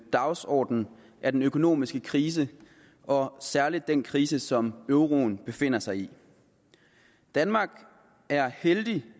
dagsorden er den økonomiske krise og særlig den krise som euroen befinder sig i danmark er heldig